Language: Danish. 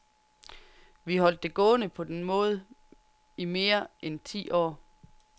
Vi holdt det gående på den måde i mere end ti år.